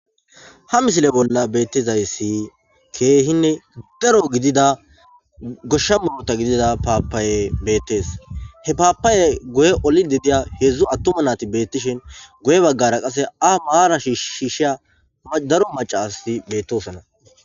Ha misile bolla betizaysi kehinne daro gidida gosha muruta gidida papaye betes he papayey guye olidi diza hedzu atuma nati betishin guye bagara qase a maran shishiza daro macati de'osona